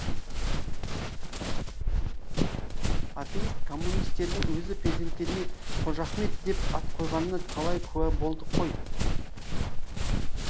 атеист коммунистердің өзі перзенттеріне қожахмет деп ат қойғанына талай куә болдық қой